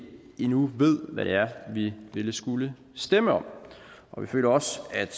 endnu ved hvad det er vi vil skulle stemme om vi føler også at